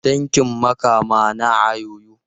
Tankin Makama naa yoyo.